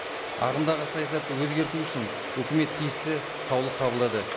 ағымдағы саясатты өзгерту үшін өкімет тиісті қаулы қабылдады